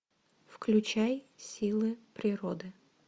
включай силы природы